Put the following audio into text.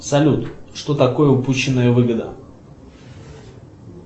салют что такое упущенная выгода